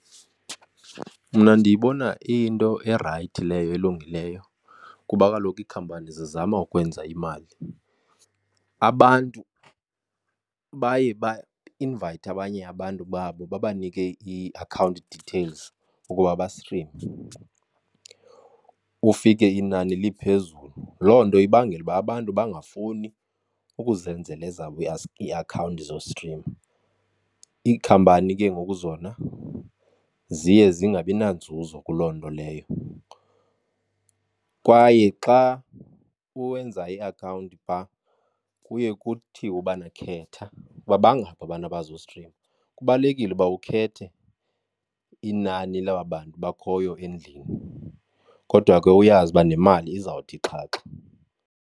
Mna ndiyibona iyinto erayithi leyo elungileyo kuba kaloku iikhampani zizama ukwenza imali. Abantu baye bainvayithe abanye abantu babo babanike ii-account details ukuba bastrime ufike inani liphezulu. Loo nto ibangela ukuba abantu bangafuni ukuzenzela ezabo iiakhawunti zostrima. Iikhampani ke ngoku zona ziye zingabi nanzuzo kuloo nto leyo. Kwaye xa uwenza iakhawunti phaa kuye kuthiwe ubana khetha ukuba bangaphi abantu abazostrima. Kubalulekile ukuba ukhethe inani laba bantu bakhoyo endlini, kodwa ke uyazi uba nemali izawuthi xhaxha.